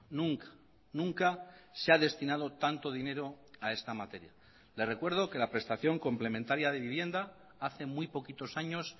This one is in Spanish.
nunca nunca se ha destinado tanto dinero a esta materia le recuerdo que la prestación complementaria de vivienda hace muy poquitos años